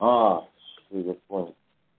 всё я понял